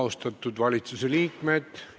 Austatud valitsuse liikmed!